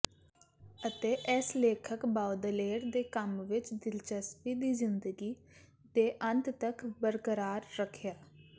ਅਤੇ ਇਸ ਲੇਖਕ ਬਾਓਦਲੇਅਰ ਦੇ ਕੰਮ ਵਿਚ ਦਿਲਚਸਪੀ ਦੀ ਜ਼ਿੰਦਗੀ ਦੇ ਅੰਤ ਤਕ ਬਰਕਰਾਰ ਰੱਖਿਆ